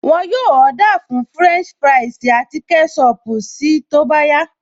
Wọn yóò Ọ́dà fún fúrẹ́ǹṣì fúráìsì àti kẹ́ṣọpù si tó bá yá